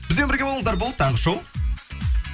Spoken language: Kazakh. бізбен бірге болыңыздар бұл таңғы шоу